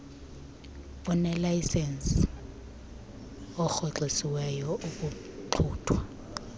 onelayisenisi orhoxisiweyo ukuxuthwa